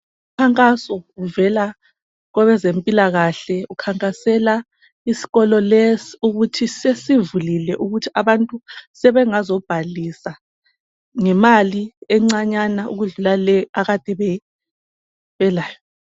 Umkhankaso uvela kwabazempilakahle ukhankasela isikolo lesi ukuthi sesivulile ukuthi abantu sebengazo bhalisa ngemali encanyana ukwedlula leyo abade belayo